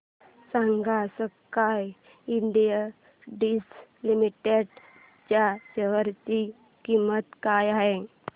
सांगा Sky Industries Limited च्या share ची किंमत काय आहे